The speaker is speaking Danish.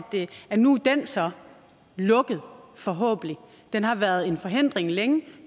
at nu er den så lukket forhåbentlig den har været en forhindring længe